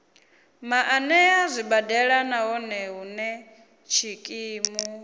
maanḓa zwibadela nahone hune tshikimu